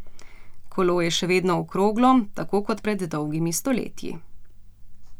Kolo je še vedno okroglo, tako kot pred dolgimi stoletji.